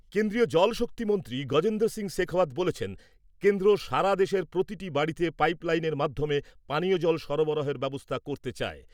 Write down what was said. কেন্দ্রীয় জল শক্তি মন্ত্রী গজেন্দ্র সিং শেখাওয়াত বলেছেন , কেন্দ্র সারা দেশের প্রতিটি বাড়িতে পাইপ লাইনের মাধ্যমে পানীয় জল সরবরাহের ব্যবস্থা করতে চায় ।